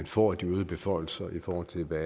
få de øgede beføjelser i forhold til hvad